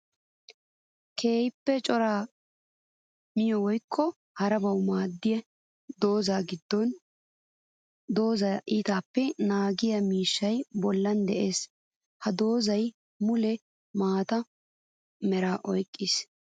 Keehippe cora miyo woykko harabawu maadettiyo dooza gidon dooza iittabappe naagiya miishshay bollan de'ees. Ha doozay mule maata meraa oyqqiis.